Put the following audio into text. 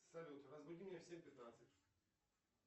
салют разбуди меня в семь пятнадцать